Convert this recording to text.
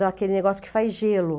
Daquele negócio que faz gelo.